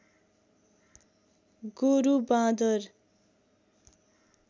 गोरु बाँदर